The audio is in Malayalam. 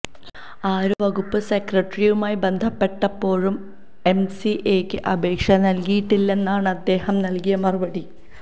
ആരോഗ്യവകുപ്പ് സെക്രട്ടറിയുമായി ബന്ധപ്പെട്ടപ്പോഴും എംസിഎയ്ക്ക് അപേക്ഷ നൽകിയിട്ടില്ലെന്നാണ് അദ്ദേഹം നൽകിയ മറുപടി